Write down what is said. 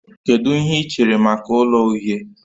Kedu ihe ị chere maka ụlọ uhie?